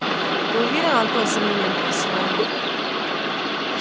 ты уверен антон с сомнением спросил он